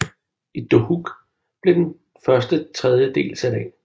I Dohuk blev den første tredje del sat af